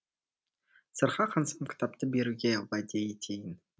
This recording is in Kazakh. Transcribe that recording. сырға қансам кітапты беруге уәде етейін